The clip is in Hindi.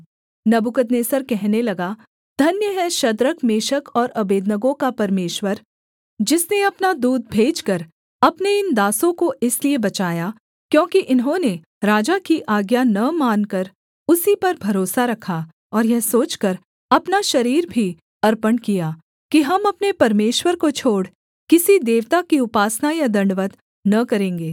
नबूकदनेस्सर कहने लगा धन्य है शद्रक मेशक और अबेदनगो का परमेश्वर जिसने अपना दूत भेजकर अपने इन दासों को इसलिए बचाया क्योंकि इन्होंने राजा की आज्ञा न मानकर उसी पर भरोसा रखा और यह सोचकर अपना शरीर भी अर्पण किया कि हम अपने परमेश्वर को छोड़ किसी देवता की उपासना या दण्डवत् न करेंगे